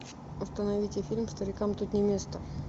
установите фильм старикам тут не место